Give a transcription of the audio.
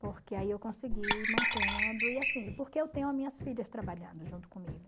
Porque aí eu consegui ir mantendo e assim, porque eu tenho as minhas filhas trabalhando junto comigo.